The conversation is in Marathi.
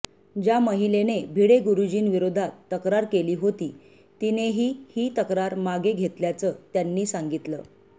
ज्या महिलेने भिडे गुरुजींविरोधात तक्रार केली होती तिनेही ही तक्रार मागे घेतल्याचं त्यांनी सांगितलं